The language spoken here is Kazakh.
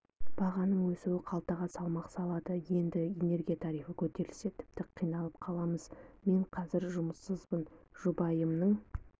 бағаның өсуі қалтаға салмақ салады енді энергия тарифі көтерілсе тіпті қиналып қаламыз мен қазір жұмыссызбын жұбайымның